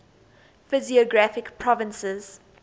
physiographic provinces